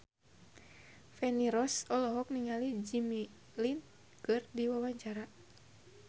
Feni Rose olohok ningali Jimmy Lin keur diwawancara